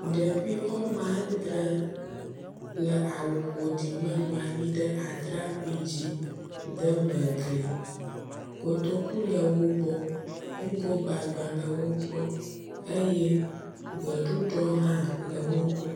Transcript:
Ɖevi wome adre le awu ƒoɖi me bɔbɔ nɔ atrakpui dzi deme gli, kotoku le wogbo, ŋgogbagbã le wogbɔ eye gbeɖuɖɔ hã le wogbɔ